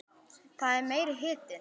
Það er meiri hitinn!